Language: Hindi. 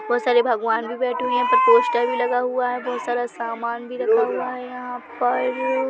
बहोत सारे भगवान भी बैठे हुए है यहाँ पे पोस्टर भी लगा हुआ है बहोत सारा सामान भी रखा हुआ है यहाँ अ पर --